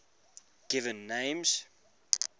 given names